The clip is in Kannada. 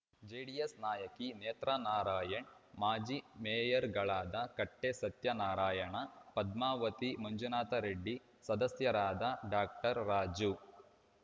ಜೆಡಿಎಸ್‌ ನಾಯಕಿ ನೇತ್ರಾನಾರಾಯಣ್‌ ಮಾಜಿ ಮೇಯರ್‌ಗಳಾದ ಕಟ್ಟೆಸತ್ಯನಾರಾಯಣ ಪದ್ಮಾವತಿ ಮಂಜುನಾಥರೆಡ್ಡಿ ಸದಸ್ಯರಾದ ಡಾಕ್ಟರ್ ರಾಜು